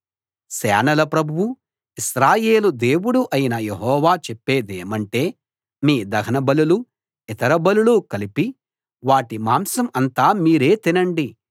సేనల ప్రభువు ఇశ్రాయేలు దేవుడు అయిన యెహోవా చెప్పేదేమంటే మీ దహన బలులూ ఇతర బలులూ కలిపి వాటి మాంసం అంతా మీరే తినండి